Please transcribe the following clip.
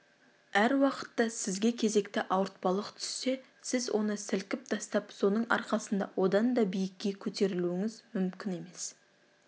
әр уақытта сізге кезекті ауыртпалық түссе сіз оны сілкіп тастап соның арқасында одан да биікке көтерілуіңіз мүмкін емес